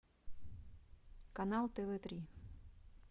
канал тв три